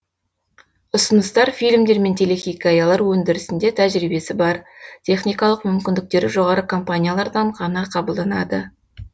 ұсыныстар фильмдер мен телехикаялар өндірісінде тәжірибесі бар техникалық мүмкіндіктері жоғары компаниялардан ғана қабылданады